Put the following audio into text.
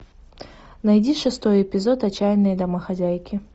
найди шестой эпизод отчаянные домохозяйки